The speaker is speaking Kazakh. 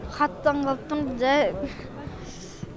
қатты таңғалып тұрм жай